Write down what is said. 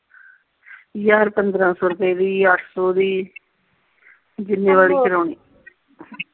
ਹਜ਼ਾਰ ਪੰਦਰਾਂ ਸੋ ਰੁਪਏ ਦੀ ਅੱਠ ਸੋ ਦੀ ਓਏ ਹੋਏ ਜਿੰਨੇ ਵਾਲੀ ਕਰਾਉਣੀ